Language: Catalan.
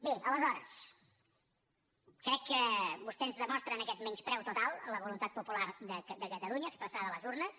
bé aleshores crec que vostè ens demostra aquest menyspreu total a la voluntat popular de catalunya expressada a les urnes